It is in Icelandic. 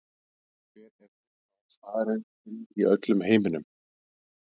Hver er uppáhaldsstaðurinn þinn í öllum heiminum?